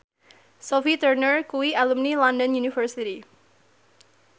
Sophie Turner kuwi alumni London University